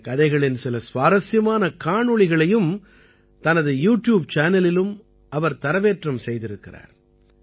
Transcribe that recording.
இந்தக் கதைகளின் சில சுவாரசியமான காணொளிகளையும் தனது யூட்யூப் சேனலிலும் இவர் தரவேற்றம் செய்திருக்கிறார்